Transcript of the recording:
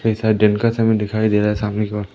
कैसा दिन का समय दिखाई दे रहा है सामने की ओर--